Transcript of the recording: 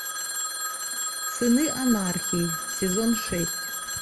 сыны анархии сезон шесть